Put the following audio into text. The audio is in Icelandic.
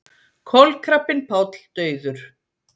Kolkrabbinn Páll dauður